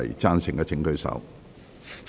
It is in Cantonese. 贊成的請舉手。